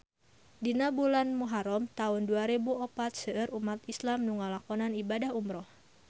Dina bulan Muharam taun dua rebu opat seueur umat islam nu ngalakonan ibadah umrah